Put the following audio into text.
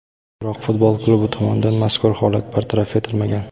Biroq futbol klubi tomonidan mazkur holat bartaraf etilmagan.